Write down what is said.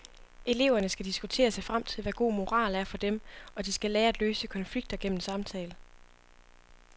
Eleverne skal diskutere sig frem til, hvad god moral er for dem, og de skal lære at løse konflikter gennem samtale.